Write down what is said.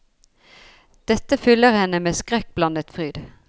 Dette fyller henne med skrekkblandet fryd.